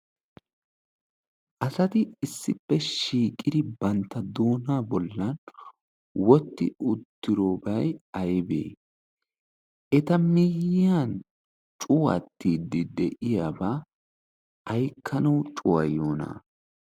asati issippe shiiqidi bantta doona bollan wotti uttirobai aibee eta miyyiyan cuwattiiddi de'iyaabaa aykkanawu cuwayyoona?